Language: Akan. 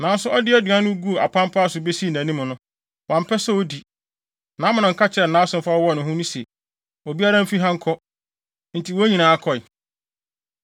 Nanso ɔde aduan no guu apampaa so besii nʼanim no, wampɛ sɛ odi. Na Amnon ka kyerɛɛ nʼasomfo a wɔwɔ hɔ no se, “Obiara mfi ha nkɔ!” Enti wɔn nyinaa kɔe.